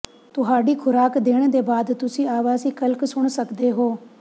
ਤੁਹਾਡੀ ਖੁਰਾਕ ਦੇਣ ਦੇ ਬਾਅਦ ਤੁਸੀਂ ਆਵਾਸੀ ਕਲਿਕ ਸੁਣ ਸਕਦੇ ਹੋ